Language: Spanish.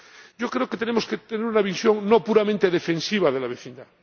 Yo creo que tenemos que tener una visión no puramente defensiva de la vecindad.